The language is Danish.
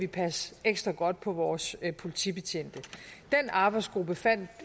passe ekstra godt på vores politibetjente den arbejdsgruppe fandt